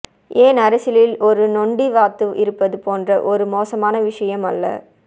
ஏன் அரசியலில் ஒரு நொண்டி வாத்து இருப்பது போன்ற ஒரு மோசமான விஷயம் அல்ல